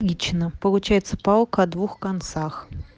отлично получается палка о двух концах